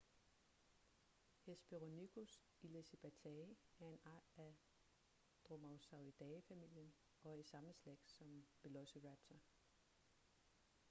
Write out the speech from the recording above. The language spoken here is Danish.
hesperonychus elizabethae er en art af dromaeosauridae-familien og er i samme slægt som velociraptor